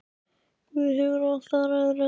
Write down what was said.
Guð hefur allt, hann ræður öllu.